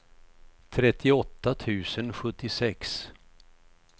trettioåtta tusen sjuttiosex